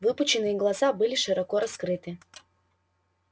выпученные глаза были широко раскрыты